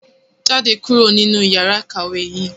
Jáde kúrò nínú yàrá ìkàwé yìí!